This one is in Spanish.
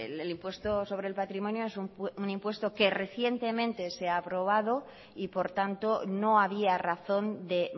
el impuesto sobre el patrimonio es un impuesto que recientemente se ha aprobado y por tanto no había razón de